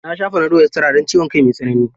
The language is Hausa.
Na sha fanadol estira don ciwon kai mai tsanani.